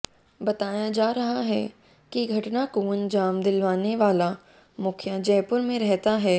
बताया जा रहा है कि घटना को अंजाम दिलवाने वाला मुखिया जयपुर में रहता है